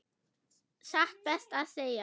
Satt best að segja.